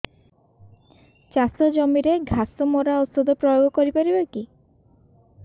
ଚାଷ ଜମିରେ ଘାସ ମରା ଔଷଧ ପ୍ରୟୋଗ କରି ପାରିବା କି